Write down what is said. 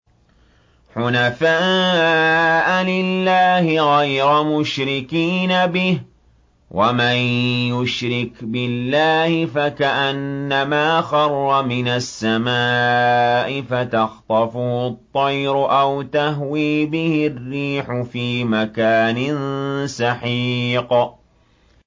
حُنَفَاءَ لِلَّهِ غَيْرَ مُشْرِكِينَ بِهِ ۚ وَمَن يُشْرِكْ بِاللَّهِ فَكَأَنَّمَا خَرَّ مِنَ السَّمَاءِ فَتَخْطَفُهُ الطَّيْرُ أَوْ تَهْوِي بِهِ الرِّيحُ فِي مَكَانٍ سَحِيقٍ